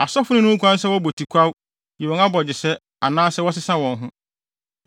“ ‘Asɔfo no nni ho kwan sɛ wɔbɔ tikwaw, yi wɔn abogyesɛ anaasɛ wɔsesa wɔn ho.